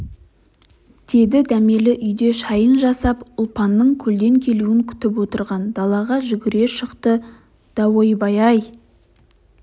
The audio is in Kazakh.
деді дәмелі үйде шайын жасап ұлпанның көлден келуін күтіп отырған далаға жүгіре шықты даойбай-ай